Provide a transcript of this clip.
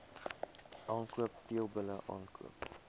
aankoop teelbulle aankoop